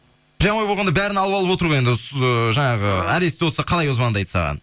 прямой болғанда бәрін алып алып отыр ғой енді ыыы жаңағы аресте отырса қалай звондайды саған